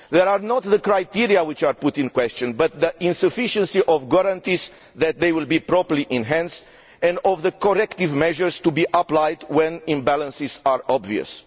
It is not the criteria which are being questioned, but the insufficiency of guarantees that they will be properly enhanced, and of corrective measures to be applied when imbalances are obvious.